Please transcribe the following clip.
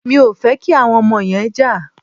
Mi ò fẹ́ kí àwọn ọmọ yẹn jà.